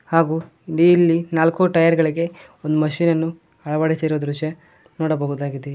ಹಾಗು ನೀಲ್ಲಿ ನಾಲ್ಕು ಟಯರ್ ಗಳಿಗೆ ಒಂದ್ ಮಷೀನ್ ಅನ್ನು ಅಳವಡಿಸಿರುವ ದೃಶ್ಯ ನೋಡಬಹುದಾಗಿದೆ.